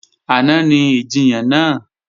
Àná ni ìjiyàn náà